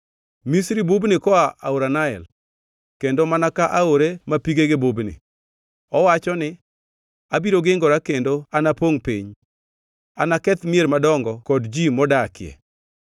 Misri bubni ka aora Nael kendo mana ka aore ma pigegi bubni. Owacho ni, ‘Abiro gingora kendo anapongʼ piny; anaketh mier madongo kod ji modakie.’